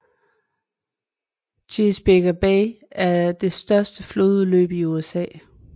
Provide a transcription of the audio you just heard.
Chesapeake Bay er det største flodudløb i USA